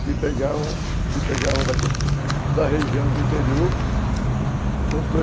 Que pegavam que pegavam da região do interior.